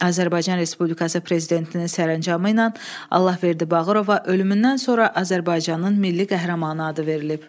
Azərbaycan Respublikası prezidentinin sərəncamı ilə Allahverdi Bağırova ölümündən sonra Azərbaycanın milli qəhrəmanı adı verilib.